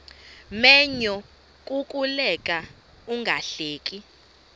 menyo kukuleka ungahleki